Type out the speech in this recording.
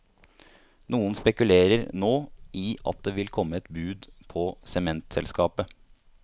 Noen spekulerer nå i at det vil komme et bud på sementselskapet.